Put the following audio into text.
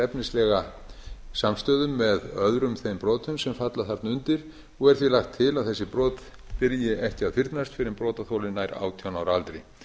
efnislega samstöðu með öðrum þeim brotum sem falla þarna undir er því lagt til að þessi brot byrji ekki að fyrnast fyrr en brotaþoli nær átján ára aldri